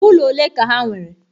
Ulo ole ka ha nwere.